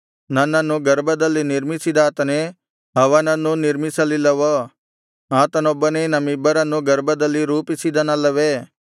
ನನ್ನನ್ನು ಗರ್ಭದಲ್ಲಿ ನಿರ್ಮಿಸಿದಾತನೇ ಅವನನ್ನೂ ನಿರ್ಮಿಸಲಿಲ್ಲವೋ ಆತನೊಬ್ಬನೇ ನಮ್ಮಿಬ್ಬರನ್ನೂ ಗರ್ಭದಲ್ಲಿ ರೂಪಿಸಿದನಲ್ಲವೇ